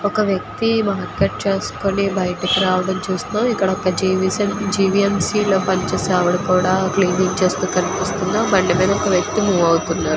ఒక వ్యక్తికి రావడం చూస్తూ జేబులో పనిచేసేవాడు కూడా క్లీన్ చేస్తుంది--